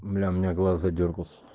бля у меня глаз задёргался